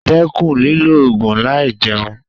Dẹ́kun lílo ògùn láì jẹun.